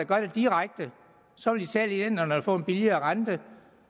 gøre det direkte så vil italienerne få en billigere rente